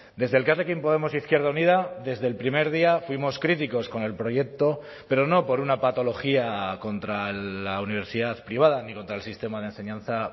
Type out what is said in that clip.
desde elkarrekin podemos izquierda unida desde el primer día fuimos críticos con el proyecto pero no por una patología contra la universidad privada ni contra el sistema de enseñanza